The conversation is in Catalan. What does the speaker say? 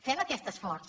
fem aquest esforç